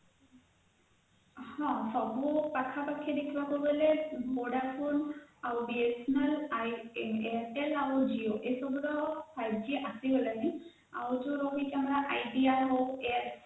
ହଁ ପାଖାପାଖି ଦେଖିବାକୁ ଗଲେ vodafone , BSNL idea, airtel ଆଉ ଜିଓ ଏସବୁର five g ଆସିଗଲାଣି ଆଉ ଯାଉ ଆମର idea ହଉ airtel